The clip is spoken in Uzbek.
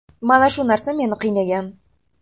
Mana shu narsa meni qiynagan.